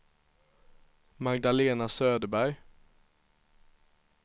Magdalena Söderberg